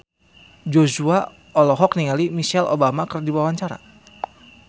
Joshua olohok ningali Michelle Obama keur diwawancara